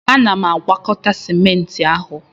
Ana m agwakọta Sịment ahụ